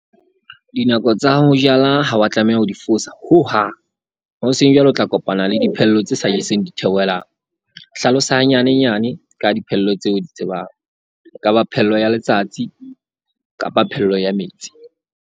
Dinako tsa ho jala ha wa tlameha ho di fosa hohang. Ho seng jwale o tla kopana le diphello tse sa jeseng ditheohelang. Hlalosa hanyane nyane ka diphello tse o di tsebang. E ka ba phello ya letsatsi kapa phello ya metsi.